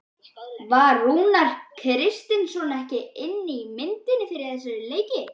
Var Rúnar Kristinsson ekki inni í myndinni fyrir þessa leiki?